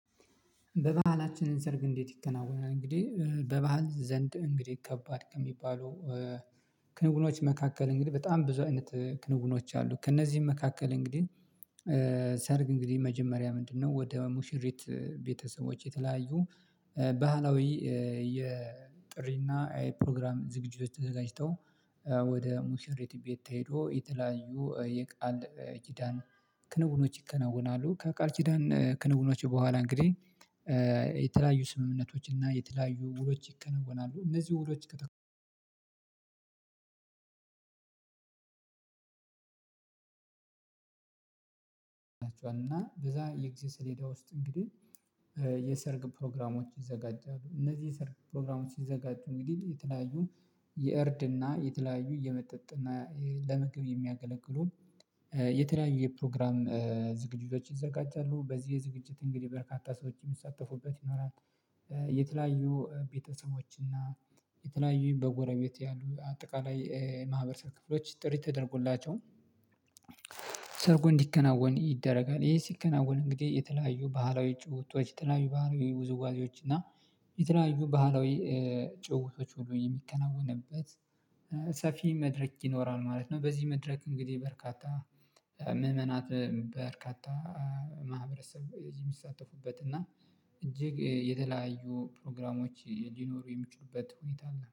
በባህላችንን ሰርግ እንዴት ይከናወናል? እንግዲህ በባህል ዘንድ እንግዲህ ከባድ ከሚባሉ ክንውኖች መካከል እንግዲህ በጣም ብዙ አይነት ክንውኖች አሉ ከእነዚህም መካከል እንግዲህ ሰርግ እንግዲህ መጀመሪያ ምንድነው ወደ ሙሽሪት ቤተሰቦች የተለያዩ ባህላዊ የጥሪና የፕሮግራም ዝግጁዎች ተዘጋጅተው ወደ ሙሽሬት ቤት ተሄዶ የተለያዩ የቃል ኪዳን ክንውኖች ይከናወናሉ። ከቃል ኪዳን ክንውኖች በኋላ እንግዲህ የተለያዩ ስምምነቶች እና የተለያዩ ውሎች ይከነወናሉ። እነዚህ ውሎች እና በዛ የጊዜ ሰሌዳ ውስጥ እንግዲህ የሰርግ ፕሮግራሞች ይዘጋጃሉ። እነዚህ የሰርግ ፕሮግራሞች ሲዘጋጁ እንግዲህ የተለያዩ የእርድ እና የተለያዩ የመጠጥ እና ለምግብ የሚያገለግሉ የተለያየ ፕሮግራም ዝግጅቶች ይዘጋጃሉ። በዚህ ዝግጅት እንግዲህ በርካታ ሰዎች የሚሳተፉበት ይሆናል። የተለያዩ ቤተሰቦች እና የተለያዩ በጎረቤት ያሉ አጠቃላይ የማህበረሰብ ክፍሎች ጥሪ ተደርጎላቸው ሰርጉ እንዲከናወን ይደረጋል። ይሄ ሲከናወን እንግዲህ የተለያዩ ባህላዊ ጭውውቶች የተለያዩ ባህላዊ ውዝዋዜዎች እና የተለያዩ ባህላዊ ጭውውቶች ሁሉ የሚከናወንበት ሰፊ መድረክ ይኖራል ማለት ነው። በዚህ መድረክ እንግዲህ በርካታ ምእመናት በርካታ ማህበረሰብ የሚሳተፉበት እና እጅግ የተለያዩ ፕሮግራሞች ሊኖሩ የሚችሉበት ሁኔታ አለ።